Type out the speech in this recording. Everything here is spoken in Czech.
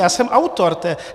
Já jsem autor.